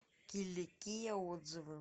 киликия отзывы